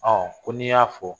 Ɔ ko n'i y'a fɔ